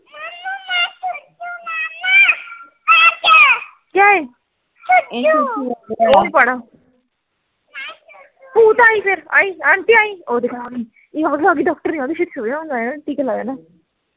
ਭੂਤ ਆਈਂ ਫੇਰ ਆਈਂ aunty ਆਈ ਓਹ ਦੇਖ ਆ ਗੀ ਇਹ ਆਗੀ ਆਗੀ ਡਾਕ੍ਟਰਨੀ ਆਗੀ ਛੇਤੀ ਸੋਜਾ ਓਹਨੇ ਟੀਕਾ ਲਾ ਦੇਣਾ